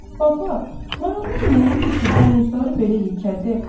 Baba, marallar nə yeyir ki, buynuzları belə yekədi?